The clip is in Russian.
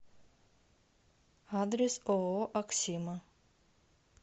адрес ооо аксима